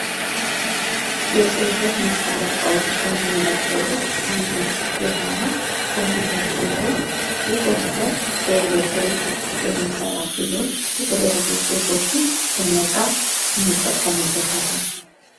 የጽፈት መሳሪያ እቃዎች ከምንላቸው ውስጥ አንዱ የሆነው ኮምፒውተር ሲሆን, ይህ ኮምፒውተር በኤሌክትሪክ የሚሠራ ሲሆን የተለያዩ ጽሁፎችን ለመጻፍ እንጠቀምበታለን።